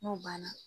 N'o banna